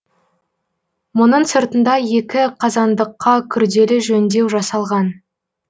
мұның сыртында екі қазандыққа күрделі жөндеу жасалған